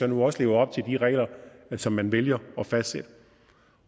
nu også lever op de regler som man vælger at fastsætte